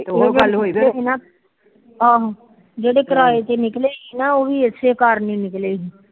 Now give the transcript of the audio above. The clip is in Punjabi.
ਫਿਰ ਉਹ ਗੱਲ ਹੋਈ ਆਹੋ ਜਿਹੜੇ ਕਿਰਾਏ ਤੇ ਨਿਕਲੇ ਸੀ ਨਾ ਉਹ ਇਸੇ ਘਰ ਤੋ ਨਿਕਲੇ ਸੀ